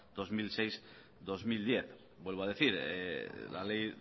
dos mil seis dos mil diez vuelvo a decir la ley